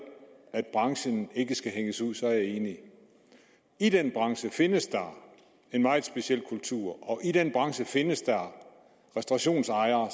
at branchen ikke skal hænges ud er jeg enig i den branche findes der en meget speciel kultur og i den branche findes der restaurationsejere